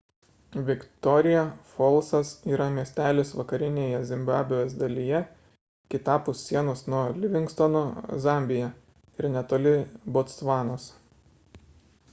viktoria folsas yra miestelis vakarinėje zimbabvės dalyje kitapus sienos nuo livingstono zambija ir netoli botsvanos